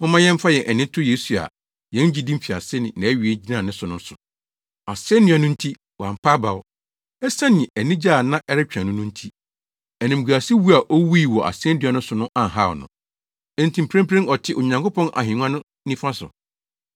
Momma yɛmfa yɛn ani nto Yesu a yɛn gyidi mfiase ne nʼawie gyina ne so no so. Asennua no nti wampa abaw. Esiane anigye a na ɛretwɛn no no nti, animguasewu a owui wɔ asennua so no anhaw no. Enti mprempren ɔte Onyankopɔn ahengua no nifa so.